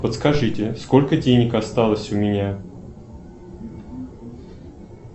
подскажите сколько денег осталось у меня